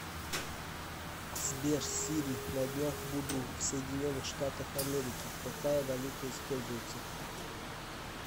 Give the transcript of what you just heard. сбер сири на днях буду в соединенных штатах америки какая валюта используется